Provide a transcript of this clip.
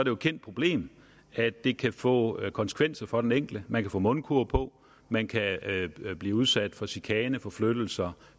jo et kendt problem at det kan få konsekvenser for den enkelte man kan få mundkurv på man kan blive udsat for chikane forflyttelse